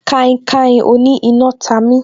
Kainkain oní iná ta mi